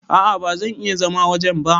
A'a ba zan iya zama wajen ba.